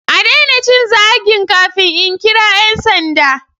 A daina cin zagin kafin in kira 'yan sanda.